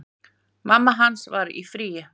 Mamma hans var í fríi.